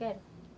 Quero.